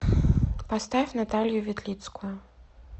поставь наталью ветлицкую